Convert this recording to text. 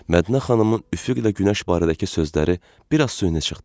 Mədinə xanımın üfüqlə günəş barədəki sözləri biraz süni çıxdı.